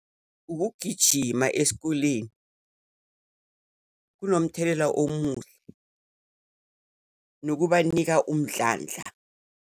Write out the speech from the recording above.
Ukugijima esikoleni kunomthelela omuhle, nokubanika umdlandla.